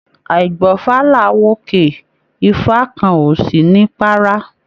Àígbọ́fá làá w'òkè, ifá kàn ọ sí ní párá.